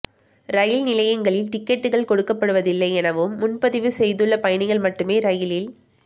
ரயில் நிலையங்களில் டிக்கெட்டுகள் கொடுக்கப்படுவதில்லை எனவும் முன்பதிவு செய்துள்ள பயணிகள் மட்டுமே ரயிலில்